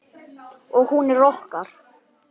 Við verðum aftur saman síðar.